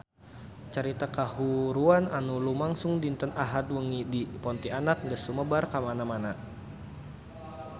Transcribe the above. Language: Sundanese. Carita kahuruan anu lumangsung dinten Ahad wengi di Pontianak geus sumebar kamana-mana